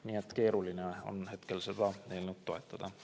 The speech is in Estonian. Nii et keeruline on hetkel seda eelnõu toetada.